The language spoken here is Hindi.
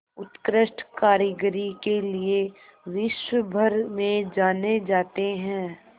उत्कृष्ट कारीगरी के लिये विश्वभर में जाने जाते हैं